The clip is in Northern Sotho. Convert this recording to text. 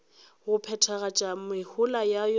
go phethagatša mehola ya yona